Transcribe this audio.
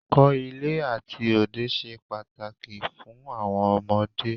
Ẹ̀kọ́ ilé àti òde ṣe pàtàkì púpọ̀ fún àwọn ọmọdé.